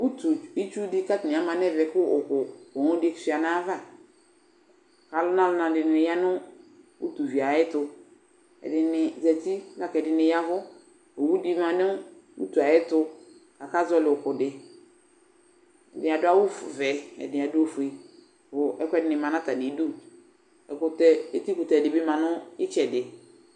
Utu itsu dɩ kʋ atanɩ ama nʋ ɛvɛ kʋ ʋ ʋ owu dɩ sʋɩa nʋ ayava Alʋnananɩ dɩnɩ ya nʋ utivi yɛ ayɛtʋ Ɛdɩnɩ zati la kʋ ɛdɩnɩ ya ɛvʋ Owu dɩ ma nʋ utu yɛ ayɛtʋ akazɔɣɔlɩ ʋkʋ dɩ Ɛdɩnɩ adʋ awʋ f vɛ, ɛdɩnɩ adʋ ofue kʋ ɛkʋɛdɩnɩ ma nʋ atamɩdu Ɛkʋtɛ, etikʋtɛ dɩ bɩ ma nʋ ɩtsɛdɩ